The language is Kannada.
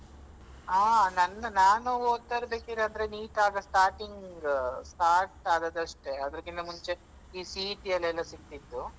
ಹಾ ನಂದು ನಾನು ಒದ್ತಿರ್ಬೇಕಾದ್ರೆ NEET ಆದ starting start ಆದದ್ದಷ್ಟೆ. ಅದ್ರಕ್ಕಿಂತ ಮುಂಚೆ ಈ CET ಯಲೆಲ್ಲ ಸಿಗ್ತಿತ್ತು.